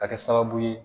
Ka kɛ sababu ye